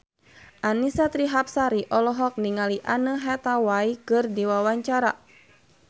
Annisa Trihapsari olohok ningali Anne Hathaway keur diwawancara